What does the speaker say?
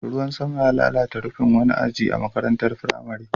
Ruwan sama ya lalata rufin wani aji a wata makarantar firamare.